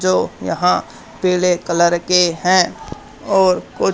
जो यहां पीले कलर के हैं और कु--